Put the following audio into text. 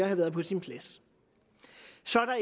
have været på sin plads så